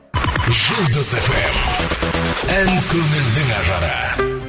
жұлдыз эф эм ән көңілдің ажары